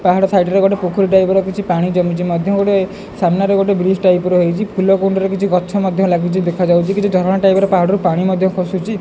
ପାହାଡ ସାଇଡ ରେ ଗୋଟେ ପୋଖରୀ ଟାଇପ୍ ର କିଛି ପାଣି ଜମିଛି ମଧ୍ୟ ସାମ୍ନା ରେ ଗୋଟେ ବ୍ରିଜ ଟାଇପ୍ ଫୁଲ କୁଣ୍ଡ ରେ କିଛି ଗଛ ମଧ୍ୟ ଲାଗିଛି ଦେଖା ଯାଉଛି କିଛି ଝରଣା ଟାଇପ୍ ପାଣି ଖସୁଛି।